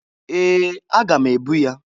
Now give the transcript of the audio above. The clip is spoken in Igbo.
Ee! Aga m ebu ya.